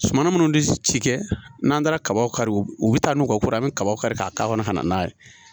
Suma minnu bɛ ci kɛ n'an taara kabaw kari u bɛ u bɛ taa n'u ka ko ye an bɛ kaba kari ka k'a kɔnɔ ka na n'a ye